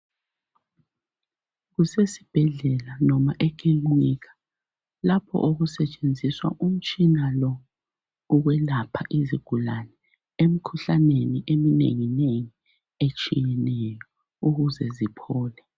Kusesibhedlela noma ekilinika lapho okusetshenziswa umtshina lo, wokwelapha izigulane emkhuhlaneni eminengi nengi etshiyeneyo ukuze ziphole.